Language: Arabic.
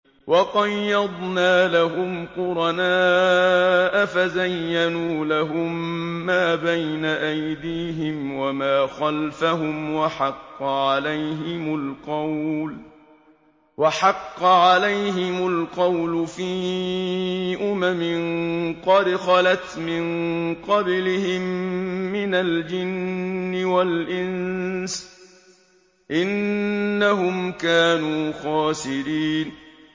۞ وَقَيَّضْنَا لَهُمْ قُرَنَاءَ فَزَيَّنُوا لَهُم مَّا بَيْنَ أَيْدِيهِمْ وَمَا خَلْفَهُمْ وَحَقَّ عَلَيْهِمُ الْقَوْلُ فِي أُمَمٍ قَدْ خَلَتْ مِن قَبْلِهِم مِّنَ الْجِنِّ وَالْإِنسِ ۖ إِنَّهُمْ كَانُوا خَاسِرِينَ